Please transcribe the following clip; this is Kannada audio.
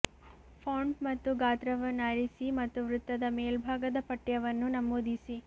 ಫಾಂಟ್ ಮತ್ತು ಗಾತ್ರವನ್ನು ಆರಿಸಿ ಮತ್ತು ವೃತ್ತದ ಮೇಲ್ಭಾಗದ ಪಠ್ಯವನ್ನು ನಮೂದಿಸಿ